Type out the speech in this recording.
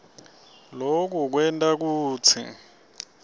loku kwenta kutsi